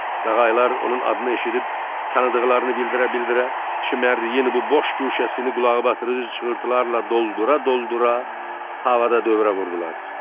Qağayılar onun adını eşidib, tanıdıqlarını bildirə-bildirə, çimərliyin bu boş guşəsini qulaqbatırıcı çığırtılarla doldura-doldura havada dövrə vurdular.